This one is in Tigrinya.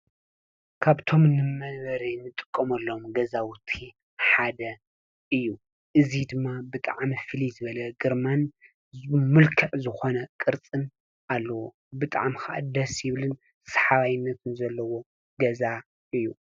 ካብቶም ንመንበሪ ገዛ እንጥቀመሉ ሓደ እዩ ። እዚ ድማ ብጣዕሚ ፍሉይ ዝበለ ግርማን መልክዕ ዝኮነ ቅርፅን ኣለዎ። ብጣዕሚ ድማ ደስ ዝብልን ሳሓብነት ዘለዎ ገዛ እዩ::